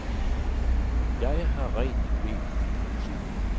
Jeg har rent mel i posen.